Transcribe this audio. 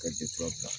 Ka bila